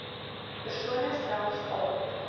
persone selfs al